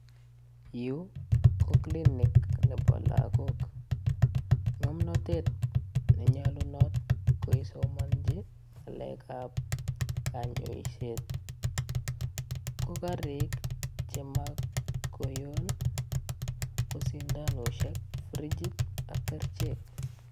Yu ko klinik nebo lagok. Ngomnatet nenyalunot koisomanji ngalekab kanyaiset ko sindanosiek, frigit ak kerichek.